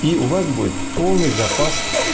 и у вас будет полный запас